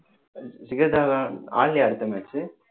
சிகர்தாவான் ஆடலியா அடுத்த match